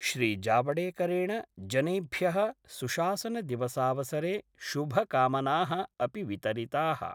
श्रीजावडेकरेण जनेभ्य: सुशासनदिवसावसरे शुभकामनाः अपि वितरिताः।